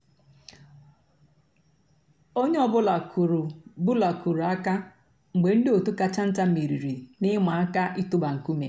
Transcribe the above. ónyé ọ̀ bụ́là kùrù bụ́là kùrù àkà mg̀bé ndị́ ótú kàchà ntá mèrírí n'ị̀màà àká ị̀tụ́bà nkúmé.